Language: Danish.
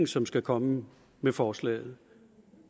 som skal komme med forslaget